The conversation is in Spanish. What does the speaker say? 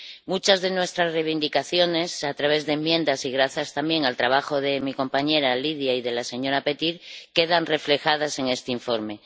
Muchas de nuestras reivindicaciones a través de enmiendas, y gracias también al trabajo de mi compañera Lidia y de la señora Petir, quedan reflejadas en este informe.